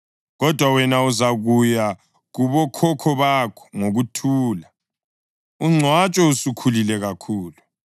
Kodwa wena, uzakuya kubokhokho bakho ngokuthula, ungcwatshwe usukhulile kakhulu.